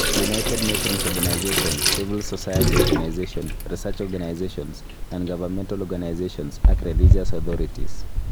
United Nations organisations, civil society organisations, research organisations, non -governmental organisations, ak religious authorities.